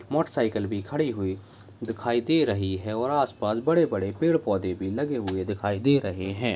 Motor cycle भी खड़ी हुई दिखाई दे रही है और आस पास बड़े-बड़े पेड़-पौधे भी लगे हुए दिखाई दे रहे हैं।